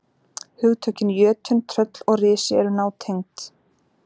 Hugtökin jötunn, tröll og risi eru nátengd.